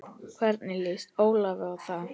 Hvernig lýst Ólafi á það?